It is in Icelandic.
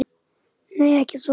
Nei, ekki svona.